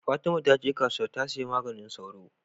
fatima taje kasuwa ta siya maganin sauro